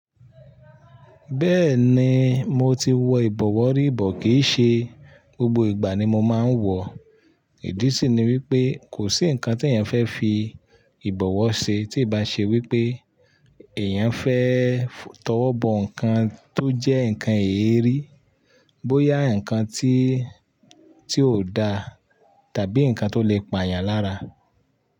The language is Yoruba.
Bẹ́ẹ̀ni, mo ti wọ ìbọ̀wọ́ rí bọ̀ kìí ṣe gbogbo ìgbà ni mo máa ń wọ̀. Ìdí sì ni wípé kò sí ǹkan tí èèyàn fẹ́ fi ìbọ̀wọ́ ṣe tí ì bá ṣe wípé èèyàn fẹ́ tọwọ́ bọ ǹkan tó jẹ́ ǹkan eérí, bóyá ǹkan tí tí ò da tàbí ǹkan tó lè pa èèyàn lára.